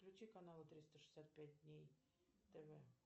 включи канал триста шестьдесят пять дней тв